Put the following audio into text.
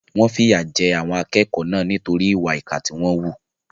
Wọ́n fìyà jẹ àwọn akẹ́kọ̀ọ́ náà nítorí ìwà ìkà tí wọ́n wù.